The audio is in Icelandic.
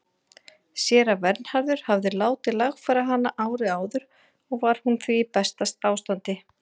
Séra Vernharður hafði látið lagfæra hana árið áður og var hún því í besta ástandi.